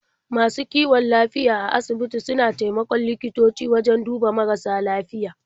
Masu kiwon lafiya a asibiti suna taimakon likitoci wajen duba marasa lafiya.